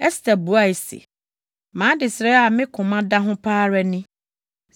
Ɛster buae se, “Mʼadesrɛ a me koma da ho pa ara ni: